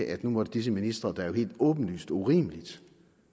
at nu måtte disse ministre der jo helt åbenlyst og urimeligt